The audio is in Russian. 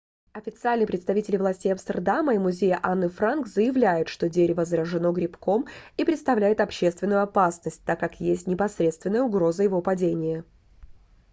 официальные представители властей амстердама и музея анны франк заявляют что дерево заражено грибком и представляет общественную опасность так как есть непосредственная угроза его падения